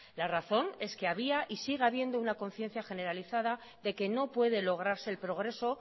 la razón es que había y sigue habiendo una conciencia generalizada de que no puede lograrse el progreso